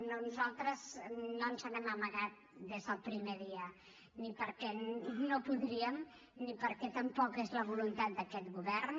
nosaltres no ens n’hem amagat des del primer dia ni perquè no podríem ni perquè tampoc és la voluntat d’aquest govern